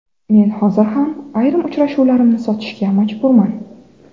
Men hozir ham ayrim uchrashuvlarimni sotishga majburman.